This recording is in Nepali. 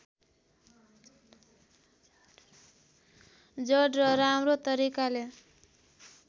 जड र राम्रो तरिकाले